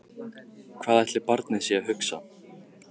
Hvað ætli barnið sé að hugsa?